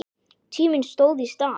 Tíminn stóð í stað.